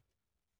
TV 2